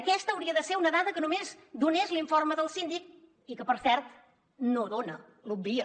aquesta hauria de ser una dada que només donés l’informe del síndic i que per cert no dona l’obvia